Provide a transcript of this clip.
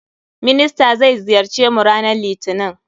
Minister zai ziyarce mu ranan litinin.